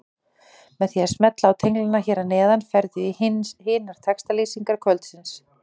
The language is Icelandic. Með því að smella á tenglana hér að neðan ferðu í hinar textalýsingar kvöldsins.